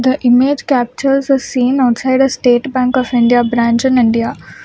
The image captures the scene outside a state bank of India branch in india.